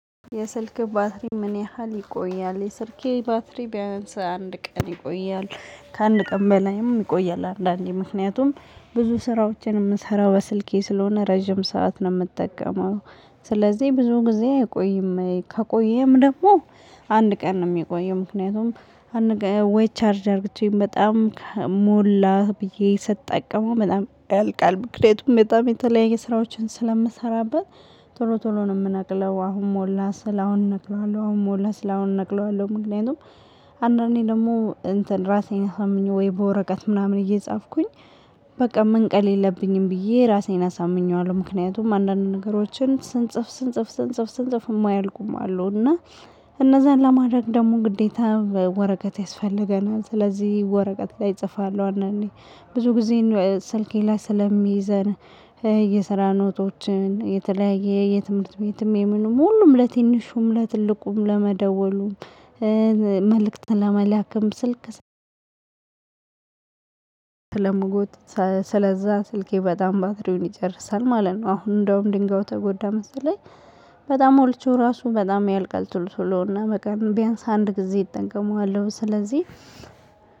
የስልክህ ባትሪ ምን ያህል ይቆያል? የስልኬ ባትሪ ቢያንስ አንድ ቀን ይቆያል። ከአንድ ቀን በላይም ይቆያል አንዳንዴ ምክንያቱም ብዙ ስራዎቼን የምሰራው በስልኬ ስለሆነ ረጅም ሰዓት ነው የምጠቀመው። ስለዚህ ብዙ ጊዜ አይቆይም ይሄ ከቆየም ደግሞ አንድ ቀን ነው የሚቆየው። ምክንያቱም ወይ ቻርጅ አርግቼ በጣም ሞላ ብዬ ስጠቀመው በጣም ያልቃል ምክንያቱም በጣም የተለያየ ስራዎችን ስለምሰራበት። ቶሎ ቶሎ ነው የምነቅለው አሁን ሞላ ስል አሁን እነቅለዋለሁ አሁን ሞላ ስል አሁን እነቅለዋለሁ ምክንያቱም አንዳንዴ ደግሞ እንትን ራሴን አሳምኜ ወይ በወረቀት ምናምን እየጻፍኩኝ። በቃ መንቀል የለብኝም ብዬ ራሴን አሳምኘዋለሁ ምክንያቱም አንዳንድ ነገሮችን ስንጽፍ ስንጽፍ ስንጽፍ ስንጽፍ የማያልቁም አሉ። እና እነዛን ለማድረግ ደግሞ ግዴታ ወረቀት ያስፈልገናል ስለዚህ ወረቀት ላይ እጽፋለሁ። አንዳንዴ ብዙ ጊዜየን ስልኬ ላይ ስለሚይዘን የስራ ኖቶችን የተለያየ የትምህርት ቤትም የምንም ሁሉም ለትንሹም ለትልቁም ለመደወሉም መልእክት ለመላክም ስልክ ስለምጎትት ስለዛ ስልኬ በጣም ባትሪውን ይጨርሳል ማለት ነው። አሁን እንደውም ድንጋዩ ተጎዳ መሰለኝ። በጣም ሞልቼው ራሱ በጣም ያልቃል ቶሎ ቶሎ እና በቀን ቢያንስ አንድ ጊዜ እጠቀመዋለሁ ስለዚህ።